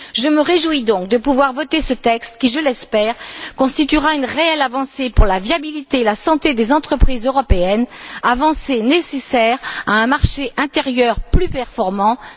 Je me réjouis donc de pouvoir voter ce texte qui, je l'espère, constituera une réelle avancée pour la viabilité et la santé des entreprises européennes, avancée nécessaire à un marché intérieur plus performant mais aussi plus juste.